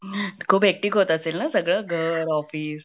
हम्म, खूप हेकटीक होत असेल ना सगळं घर, ऑफिस,